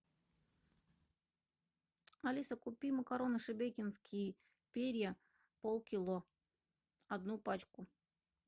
алиса купи макароны шебекинские перья полкило одну пачку